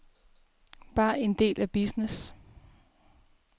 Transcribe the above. Bare en del af business.